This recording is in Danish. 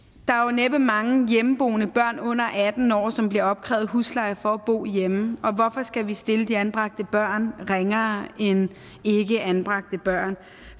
næppe er mange hjemmeboende børn under atten år som bliver opkrævet husleje for at bo hjemme og hvorfor skal vi stille anbragte børn ringere end ikkeanbragte børn